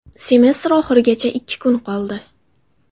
Semestr oxirigacha ikki kun qoldi.